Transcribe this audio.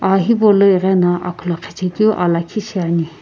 aa hipau lo ighino akhulokhi chekiu aa lakhi shi ani.